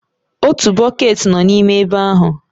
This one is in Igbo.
Otu bọket nọ n'ime ebe ahụ.